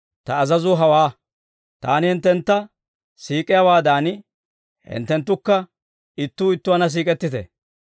Ta azazuu hawaa; Taani hinttentta siik'iyaawaadan, hinttenttukka ittuu ittuwaanna siik'ettite.